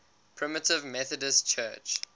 primitive methodist church